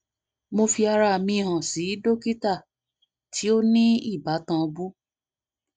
mo fi ara mi han si dokita ti o ni ibatan bu